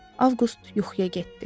Avqust yuxuya getdi.